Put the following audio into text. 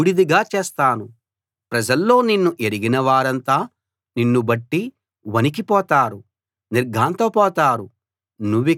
ప్రజల్లో నిన్ను ఎరిగిన వారంతా నిన్ను బట్టి వణికిపోతారు నిర్ఘాంతపోతారు నువ్విక ఉండవు